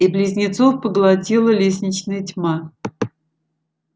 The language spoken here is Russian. и близнецов поглотила лестничная тьма